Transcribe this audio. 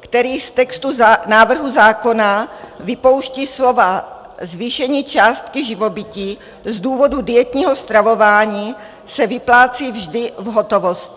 který v textu návrhu zákona vypouští slova "zvýšení částky živobytí z důvodu dietního stravování se vyplácí vždy v hotovosti".